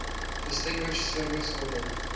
distinguished service order